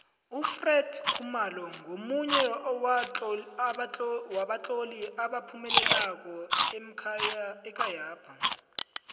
ufred khumalo ngomunye wabatloli abaphumeleleko ekhayapha